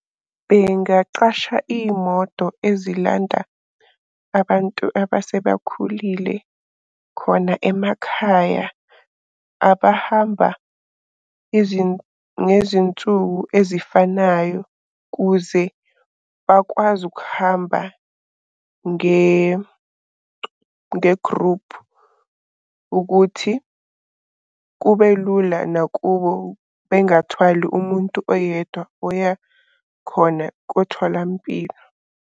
Bengaqasha iy'moto ezilanda abantu abasebakhulile khona emakhaya abahamba ngezinsuku ezifanayo kuze bakwazi ukuhamba ngegruphu. Ukuthi kube lula nakubo bengathwali umuntu oyedwa oya khona kotholampilo.